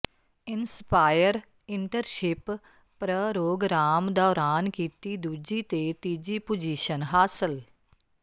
inspire internship programme ਦੌਰਾਨ ਕੀਤੀ ਦੂਜੀ ਤੇ ਤੀਜੀ ਪੁਜੀਸ਼ਨ ਹਾਸਲ